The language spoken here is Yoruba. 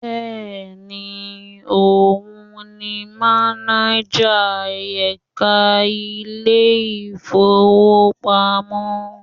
Bẹ́ẹ̀ni, òun ni mánájà ẹka ilé ìfowópamọ́.